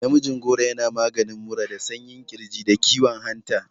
Namijin goro yana maganin mura da sanyin ƙirji, da kiwon hanta.